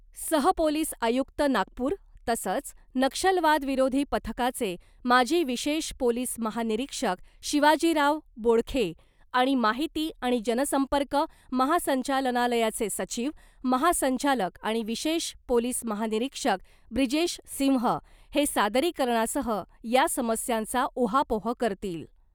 सहपोलिस आयुक्त नागपूर तसंच , नक्षलवादविरोधी पथकाचे माजी विशेष पोलीस महानिरीक्षक शिवाजीराव बोडखे आणि माहिती आणि जनसंपर्क महासंचालनालयाचे सचिव , महासंचालक आणि विशेष पोलीस महानिरीक्षक ब्रिजेश सिंह हे सादरीकरणासह या समस्यांचा उहापोह करतील .